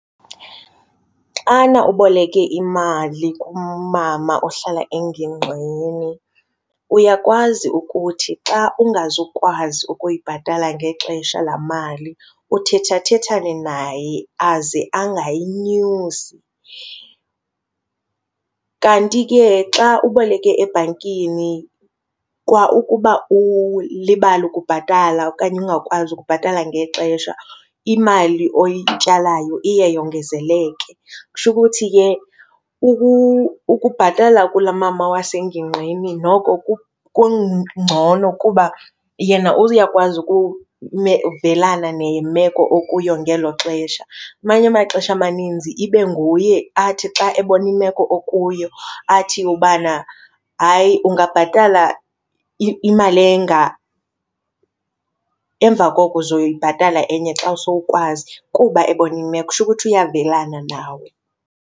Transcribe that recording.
Xana uboleke imali kumama ohlala engingqini uyakwazi ukuthi xa ungazukwazi ukuyibhatala ngexesha laa mali uthethathethane naye aze angayinyusi. Kanti ke xa uboleke ebhankini kwaukuba ulibale ukubhatala okanye ungakwazi ukubhatala ngexesha, imali oyityalayo iye yongezeleke. Kusho ukuthi ke ukubhatala kulaa mama wasengingqini noko kungcono kuba yena uyakwazi ukuvelana nemeko okuyo ngelo xesha. Amanye amaxesha amaninzi ibe nguye athi xa ebona imeko okuyo athi ubana hayi ungabhatala imali enga, emva koko uzoyibhatala enye xa sowukwazi kuba ebona imeko. Kusho ukuthi uyavelana nawe.